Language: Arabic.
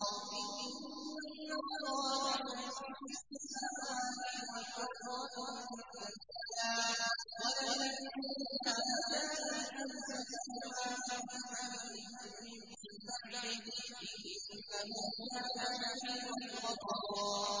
۞ إِنَّ اللَّهَ يُمْسِكُ السَّمَاوَاتِ وَالْأَرْضَ أَن تَزُولَا ۚ وَلَئِن زَالَتَا إِنْ أَمْسَكَهُمَا مِنْ أَحَدٍ مِّن بَعْدِهِ ۚ إِنَّهُ كَانَ حَلِيمًا غَفُورًا